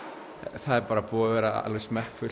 það er búið að vera alveg